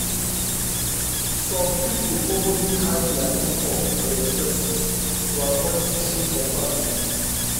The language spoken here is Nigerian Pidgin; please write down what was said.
some people purposely hide dia income and expenses to avoid social comparison.